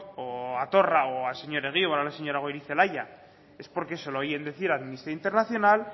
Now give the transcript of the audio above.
o a torra o al señor egibar o a la señora goirizelaia es porque se lo oyen decir a amnistía internacional